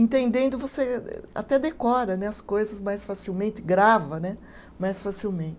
Entendendo, você até decora né, as coisas mais facilmente, grava né mais facilmente.